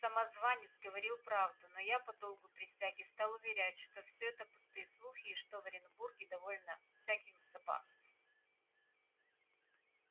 самозванец говорил правду но я по долгу присяги стал уверять что все это пустые слухи и что в оренбурге довольно всяких запасов